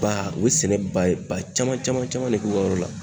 Ba u ye sɛnɛ ba caman caman caman de k'u ka yɔrɔ la